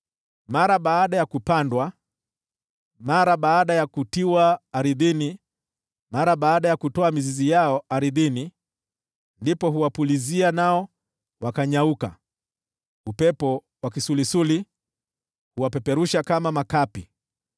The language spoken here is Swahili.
Mara baada ya kupandwa, mara baada ya kutiwa ardhini, mara baada ya kutoa mizizi yao ardhini, ndipo huwapulizia nao wakanyauka, nao upepo wa kisulisuli huwapeperusha kama makapi.